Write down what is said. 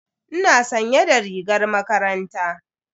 Ina sanye da rigar makaranta.